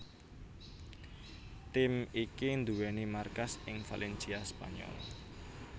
Tim iki nduwèni markas ing Valencia Spanyol